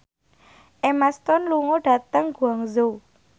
Emma Stone lunga dhateng Guangzhou